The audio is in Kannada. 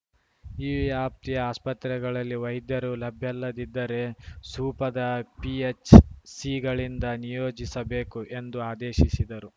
ಈ ವ್ಯಾಪ್ತಿಯ ಆಸ್ಪತ್ರೆಗಳಲ್ಲಿ ವೈದ್ಯರು ಲಭ್ಯಲ್ಲದಿದ್ದರೆ ಸೂಪದ ಪಿಎಚ್‌ಸಿಗಳಿಂದ ನಿಯೋಜಿಸಬೇಕು ಎಂದು ಆದೇಶಿಶಿದರು